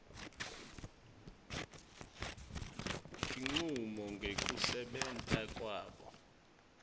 tincumo ngekusebenta kwabo